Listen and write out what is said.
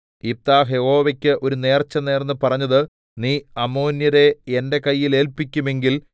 യിഫ്താഹ് യഹോവയ്ക്ക് ഒരു നേർച്ചനേർന്ന് പറഞ്ഞത് നീ അമ്മോന്യരെ എന്റെ കയ്യിൽ ഏല്പിക്കുമെങ്കിൽ